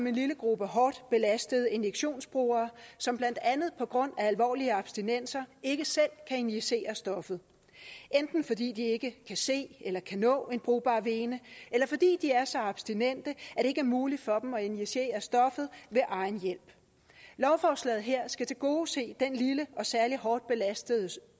en lille gruppe hårdt belastede injektionsbrugere som blandt andet på grund af alvorlige abstinenser ikke selv kan injicere stoffet enten fordi de ikke kan se eller kan nå en brugbar vene eller fordi de er så abstinente at det ikke er muligt for dem at injicere stoffet ved egen hjælp lovforslaget her skal tilgodese den lille og særlig hårdt belastede